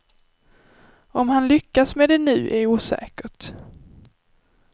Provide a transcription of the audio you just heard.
Om han lyckas med det nu är osäkert.